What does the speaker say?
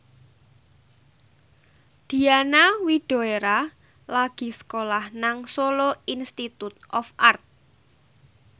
Diana Widoera lagi sekolah nang Solo Institute of Art